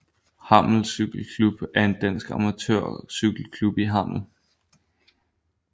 Hammel Cykle Klub er en dansk amatørcykelklub i Hammel